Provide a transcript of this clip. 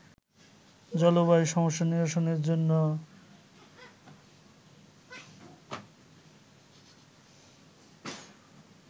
জলবায়ু সমস্যা নিরসনের জন্য